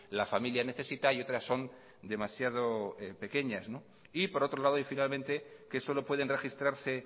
la familia necesita y otras son demasiado pequeñas y por otro lado y finalmente que solo pueden registrarse